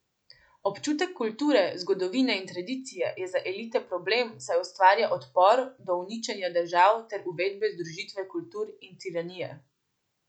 Občutek kulture, zgodovine in tradicije je za elite problem, saj ustvarja odpor do uničenja držav ter uvedbe združitve kultur in tiranije.